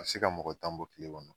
A ti se ka mɔgɔ tan bɔ kile kɔnɔ.